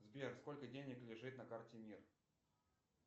сбер сколько денег лежит на карте мир